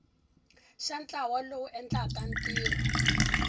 xa ntlawa lowu endlaka ntirho